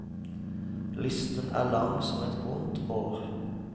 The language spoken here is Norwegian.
Listen er lang som et vondt år.